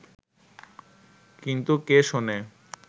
কিন্তু কে শোনে